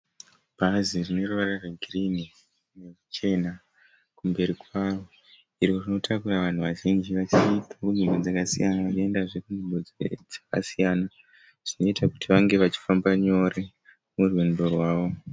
Bhazi rine ruvara rwegirini neruchena kumberi kwaro. Iro rinotakura vanhu vazhinji vanenge vachibva kunzvimbo dzakasiyana vachiendazve kunzvimbo dzakasiyana. Zvinoita kuti vange vachifamba nyore murwendo rwavo.